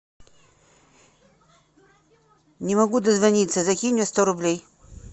не могу дозвониться закинь мне сто рублей